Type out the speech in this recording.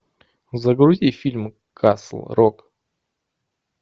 загрузи фильм касл рок